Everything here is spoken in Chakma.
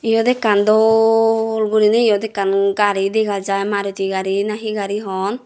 iyot ekkan dol guriney iyot ekkan maruti gari nahi he gari hon.